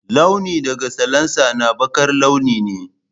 Launi daga salansa na baƙar launi ne.